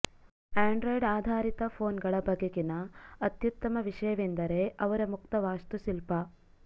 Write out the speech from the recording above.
Android ಆಧಾರಿತ ಫೋನ್ಗಳ ಬಗೆಗಿನ ಅತ್ಯುತ್ತಮ ವಿಷಯವೆಂದರೆ ಅವರ ಮುಕ್ತ ವಾಸ್ತುಶಿಲ್ಪ